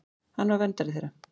Hann var verndari þeirra.